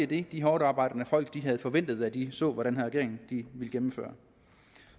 det de hårdtarbejdende folk havde forventet da de så hvad den her regering ville gennemføre